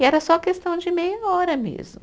E era só questão de meia hora mesmo.